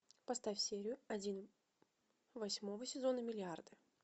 поставь серию один восьмого сезона миллиарды